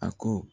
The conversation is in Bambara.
A ko